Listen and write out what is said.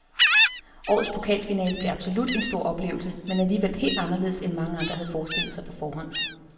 Årets pokalfinale blev absolut en stor oplevelse, men alligevel helt anderledes end mange havde forestillet sig på forhånd.